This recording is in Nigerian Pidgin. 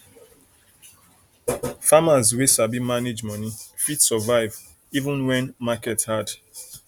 farmers wey sabi manage money fit survive even when market hard